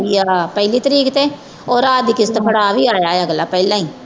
ਆ ਪਹਿਲੀ ਤਰੀਕ ਤੇ ਉਹ ਰਾਜ ਕਿਸ਼ਤ ਫੜਾ ਵੀ ਆਇਆ ਅਗਲਾ ਪਹਿਲਾਂ ਹੀ।